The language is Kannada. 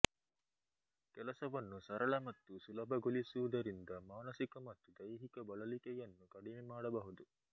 ಕೆಲಸವನ್ನು ಸರಳ ಮತ್ತು ಸುಲಭಗೊಳಿಸುವುದರಿಂದ ಮಾನಸಿಕ ಮತ್ತು ದೈಹಿಕ ಬಳಲಿಕೆಯನ್ನು ಕಡಿಮೆ ಮಾಡಬಹುದು